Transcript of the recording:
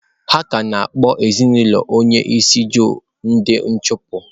Ha ka na-akpọ ezinaụlọ onye isi Ojo ndị achụpụ.